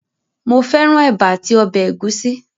Mo fẹ́ran ẹ̀bà àti ọbẹ̀ ẹ̀gúsí